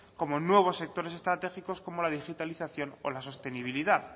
como en nuevos sectores estratégicos como la digitalización o la sostenibilidad